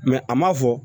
a ma fɔ